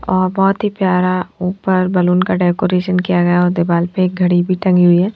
और बहुत ही प्यारा ऊपर बैलून का डेकोरेशन किया गया और दीवाल पे एक घड़ी भी टंगी हुई है।